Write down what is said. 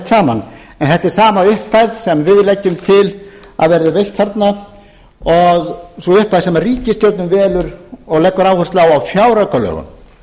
saman en þetta er sama upphæð sem við leggjum til að verði veitt þarna og sú upphæð sem ríkisstjórnin velur og leggur áherslu á á fjáraukalögum